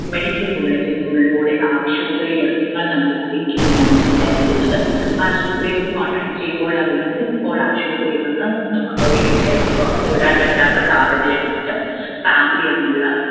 medical bulleting ലൂടെ ആവശ്യ നമ്മളെ അറിയിക്കുമെന്നാണ് വിചാരിക്കുന്നത് ആശുപത്രിയോട് contact ചെയ്യുമ്പോൾ അറിയുന്നത് ഇപ്പോൾ ആശുപത്രിയിൽ നിന്നും ഒന്നും ഒരു details ഉം പുറത്ത് വിടാൻ പറ്റാത്ത സാഹചര്യമുണ്ട് family അതിനുള്ള